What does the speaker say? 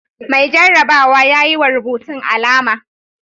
Mai jarrabawa ya yi wa rubutun alama.